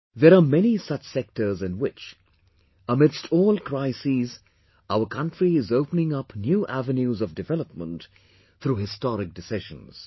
There are many such sectors in which, amidst, all crises, our country is opening up new avenues of development through historic decisions